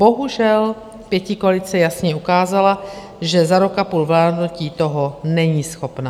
Bohužel, pětikoalice jasně ukázala, že za rok a půl vládnutí toho není schopna.